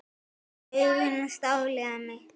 Augu hans dáleiða mig.